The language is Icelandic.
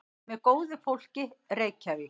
Með góðu fólki, Reykjavík.